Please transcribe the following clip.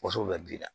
Wonso bɛ ji la